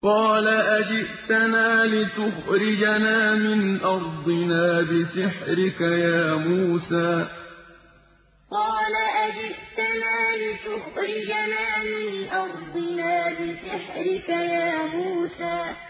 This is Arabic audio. قَالَ أَجِئْتَنَا لِتُخْرِجَنَا مِنْ أَرْضِنَا بِسِحْرِكَ يَا مُوسَىٰ قَالَ أَجِئْتَنَا لِتُخْرِجَنَا مِنْ أَرْضِنَا بِسِحْرِكَ يَا مُوسَىٰ